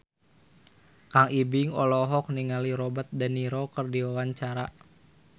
Kang Ibing olohok ningali Robert de Niro keur diwawancara